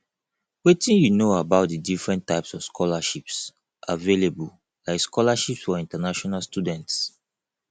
wetin you know about di different types of scholarships available like scholarships for international students